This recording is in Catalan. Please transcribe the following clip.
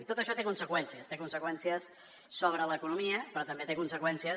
i tot això té conseqüències té conseqüències sobre l’economia però també té conseqüències